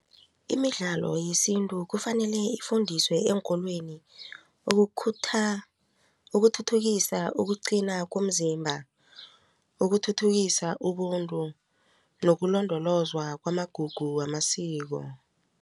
Imidlalo yesintu kufanele ifundiswe eenkolweni ukuthuthukisa ukuqina komzimba ukuthuthukisa ubuntu nokulondolozwa kwamagugu wamasiko.